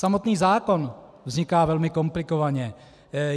Samotný zákon vzniká velmi komplikovaně.